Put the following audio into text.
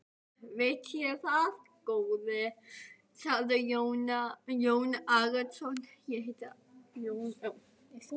Veit ég það góði, sagði Jón Arason.